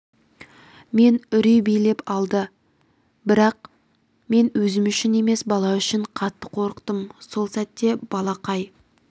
мені үрей билеп алды бірақ мен өзім үшін емес бала үшін қатты қорықтым сол сәтте балақай